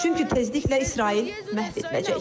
Çünki tezliklə İsrail məhv ediləcək.